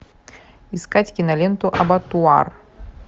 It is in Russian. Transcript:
искать киноленту абатуар